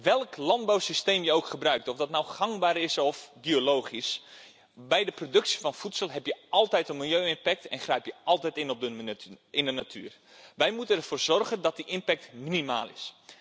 Welk landbouwsysteem je ook gebruikt of dat nou gangbaar is of biologisch bij de productie van voedsel heb je altijd een milieu impact en grijp je altijd in op de natuur. Wij moeten ervoor zorgen dat die impact minimaal is.